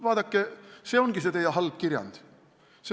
" Vaadake, see ongi see teie halb kirjand.